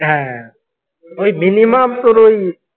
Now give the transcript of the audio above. হ্যাঁ ওই minimum তোর ওই।